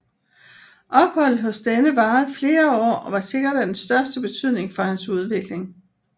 Opholdet hos denne varede flere år og var sikkert af den største betydning for hans udvikling